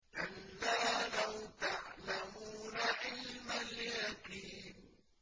كَلَّا لَوْ تَعْلَمُونَ عِلْمَ الْيَقِينِ